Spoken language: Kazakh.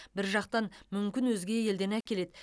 бір жақтан мүмкін өзге елден әкеледі